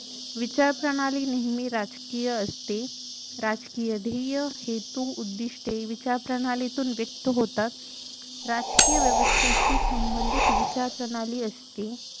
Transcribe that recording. विचारप्रणाली नेहमी राजकीय असते राजकीय ध्येये हेतु उद्दिष्टे विचारप्रणालीतून व्यक्त होतात राजकीय व्यवस्थेशी संबंधित विचारप्रणाली असते